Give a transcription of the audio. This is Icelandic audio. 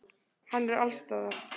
Hann er allsstaðar.